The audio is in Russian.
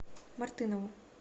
мартынову